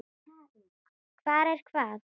Hvar er hvað?